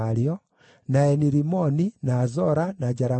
na Eni-Rimoni, na Zora, na Jaramuthu,